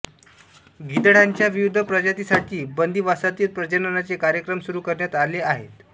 गिधाडांच्या विविध प्रजातींसाठी बंदीवासातील प्रजननाचे कार्यक्रम सुरू करण्यात आले आहेत